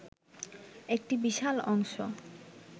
একটি বিশাল অংশ